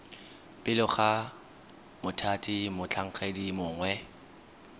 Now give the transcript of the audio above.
pele ga mothati motlhankedi mongwe